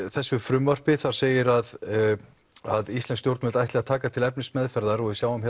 þessu frumvarpi segir að að íslensk stjórnvöld ætli að taka til efnismeðferðar og við sjáum